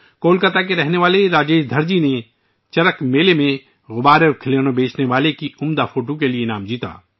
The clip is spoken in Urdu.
کولکاتہ کے رہنے والے راجیش دھارجی نے چرک میلہ میں غبارے اور کھلونے بیچنے والے کی اپنی حیرت انگیز تصویر کے لیے ایوارڈ جیتا